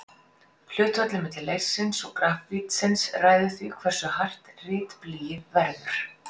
Hlutfallið milli leirsins og grafítsins ræður því hversu hart ritblýið verður.